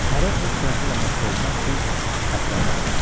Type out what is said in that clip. Hərə öz sənəti ilə məşğul olmaq üçün ətrafa dağıldı.